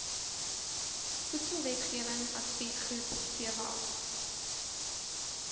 voedselwetgewing adviesgroep vwag